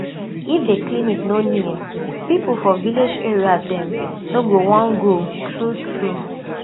if the clinic no near people for village area dem no go wan go true true